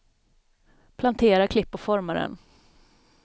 Plantera, klipp och forma den.